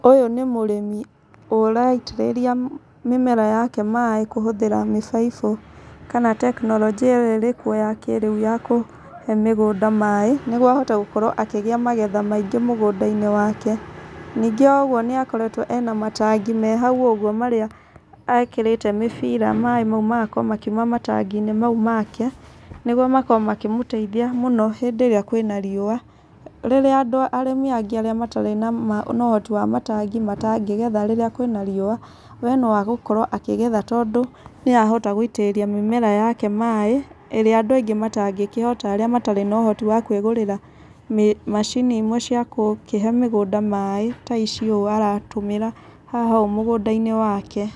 Ũyũ nĩ mũrĩmi ũraitĩrĩria mĩmera yake maĩ kũhũthĩra mĩbaibũ kana tekinoronjia ĩyo ĩrĩ kuo ya kĩrĩu ya kũhe mĩgũnda maĩ. Nĩguo ahote gũkorwo akĩgĩa magetha maingĩ mũgũnda-inĩ wake. Ningĩ o ũguo nĩ akoretwo ena matangi me hau ũguo marĩa ekĩrĩte mĩbira maĩ mau magakorwo makiuma matangi-inĩ mau make, nĩguo makorwo makĩmũteithia mũno hĩndĩ ĩrĩa kwĩna riũa. Rĩrĩa andũ arĩmi angĩ matarĩ na ũhoti wa matangi matangĩgetha rĩrĩa kwĩna riũa, we no agũkorwo akĩgetha tondũ nĩ arahota gũitĩrĩria mĩmera yake maĩ, ĩrĩa andũ aingĩ matangĩkĩhota arĩa matarĩ na ũhoti wa kwĩgũrĩra macini imwe cia kũkĩhe mĩgũnda maĩ ta ici ũũ aratũmĩra haha ũũ mũgũnda-inĩ wake.